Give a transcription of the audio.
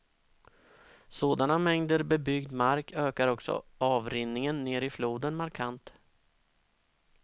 Sådana mängder bebyggd mark ökar också avrinningen ner i floden markant.